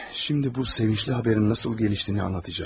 Şimdi bu sevincli xəbərin necə gəlişdiyini anlatacam.